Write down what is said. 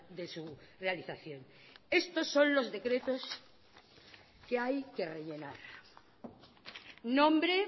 de su realización estos son los decretos que hay que rellenar nombre